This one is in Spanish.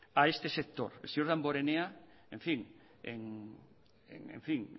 a este sector el señor damborenea en fin